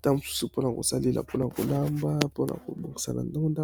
tango mosusu pona kosalela pona kolamba pona kobongisa bandunda